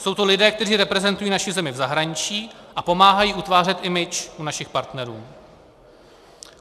Jsou to lidé, kteří reprezentují naši zemi v zahraničí a pomáhají utvářet image u našich partnerů.